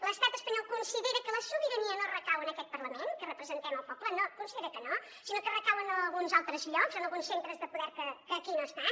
l’estat espanyol considera que la sobirania no recau en aquest parlament que representem el poble no considera que no sinó que recau en alguns altres llocs en alguns centres de poder que aquí no estan